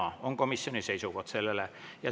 " See on komisjoni seisukoht sellele.